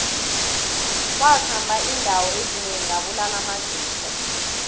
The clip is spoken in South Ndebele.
wakhamba indawo ezinengi abulala amajuda